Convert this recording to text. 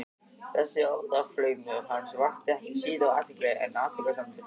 Þessi orðaflaumur hans vakti ekki síður athygli en athugasemdir